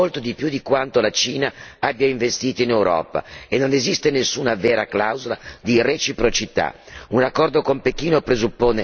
L'Europa ha investito in Cina molto di più di quanto la Cina abbia investito in Europa e non esiste nessuna vera clausola di reciprocità.